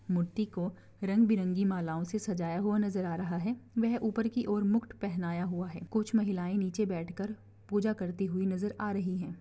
मूर्ति को रंग बिरंगी मालाओं से सजाया हुआ नज़र आ रहा है व ऊपर की ओर मुख पहनाया हुआ हैं कुछ महिलाएं नीचे बैठ कर पूजा करती हुई नजर आ रही है।